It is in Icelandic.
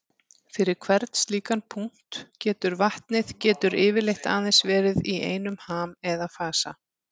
Fyrir hvern slíkan punkt getur vatnið getur yfirleitt aðeins verið í einum ham eða fasa.